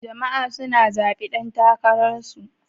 Jama'a suna zaɓi dan takararsu.